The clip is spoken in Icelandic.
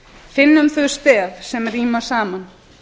finnum þau stef sem ríma saman